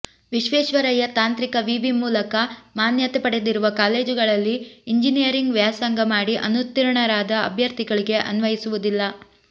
ವಿಶ್ವೇಶ್ವರಯ್ಯ ತಾಂತ್ರಿಕ ವಿವಿ ಮೂಲಕ ಮಾನ್ಯತೆ ಪಡೆದಿರುವ ಕಾಲೇಜುಗಳಲ್ಲಿ ಇಂಜಿನಿಯರಿಂಗ್ ವ್ಯಾಸಂಗ ಮಾಡಿ ಅನುತ್ತೀರ್ಣರಾದ ಅಭ್ಯರ್ಥಿಗಳಿಗೆ ಅನ್ವಯಿಸುವುದಿಲ್ಲ